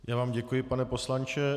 Já vám děkuji, pane poslanče.